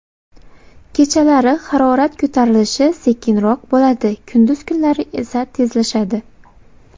Kechalari harorat ko‘tarilishi sekinroq bo‘ladi, kunduz kunlari esa tezlashadi.